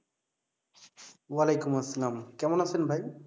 ওয়ালাইকুম আসসালাম। কেমন আছেন ভাই?